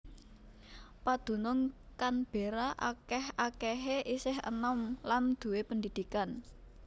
Padunung Canberra akèh akèhé isih enom lan duwé pendidikan